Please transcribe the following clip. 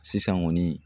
Sisan kɔni